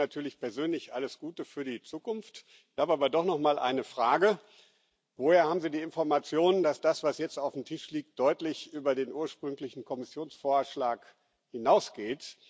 Ich wünsche Ihnen natürlich persönlich alles Gute für die Zukunft. Ich habe aber doch noch mal eine Frage Woher haben Sie die Information, dass das, was jetzt auf dem Tisch liegt, deutlich über den ursprünglichen Kommissionsvorschlag hinausgeht?